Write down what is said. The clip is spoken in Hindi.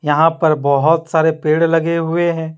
यहाँ पर बोहत सारे पेड़ लगे हुए है।